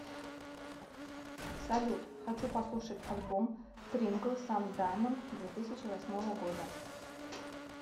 салют хочу послушать альбом трингл сан даймонд две тысячи восьмого года